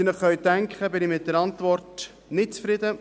Wie Sie sich denken können, bin ich mit der Antwort nicht zufrieden.